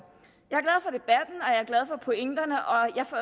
pointerne og